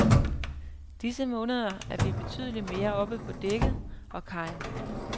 Disse måneder er vi betydeligt mere oppe på dækket og kajen.